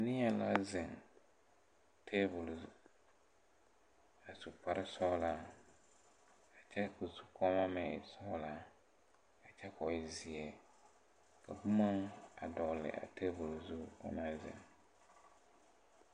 Neɛ la zeŋ tabol zu a su kparesɔglaa kyɛ ko zukɔɔmɔ meŋ e sɔglaa a kyɛ ko e zeɛ ka bomma a dɔgle a tabol zu o naŋ zeŋ.